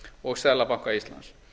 og seðlabanka íslands